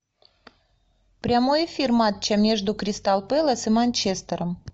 прямой эфир матча между кристал пэлас и манчестером